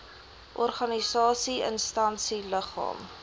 organisasie instansie liggaam